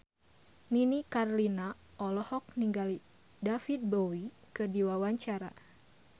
Nini Carlina olohok ningali David Bowie keur diwawancara